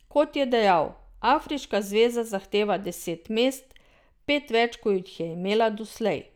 Kot je dejal, afriška zveza zahteva deset mest, pet več kot jih je imela doslej.